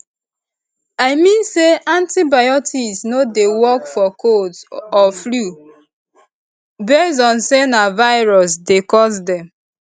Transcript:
i mean say antibiotics no dey work for colds or flu base on say na virus dey cause dem